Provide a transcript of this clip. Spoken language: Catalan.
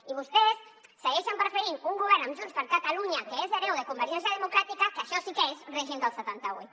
i vostès segueixen preferint un govern amb junts per catalunya que és hereu de convergència democràtica que això sí que és règim del setanta vuit